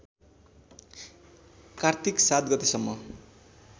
कार्तिक ७ गतेसम्म